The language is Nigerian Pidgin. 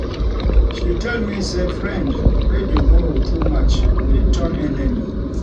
she tell me sey friend wey dey borrow too much fit turn enemy.